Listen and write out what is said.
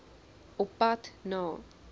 op pad na